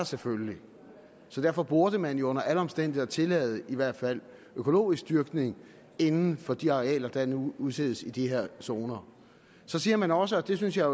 selvfølgelig så derfor burde man jo under alle omstændigheder tillade i hvert fald økologisk dyrkning inden for de arealer der nu udsættes i de her zoner så siger man også og det synes jeg